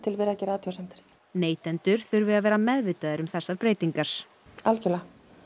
verið að gera athugasemdir neytendur þurfi að vera meðvitaðir um þessar breytingar algjörlega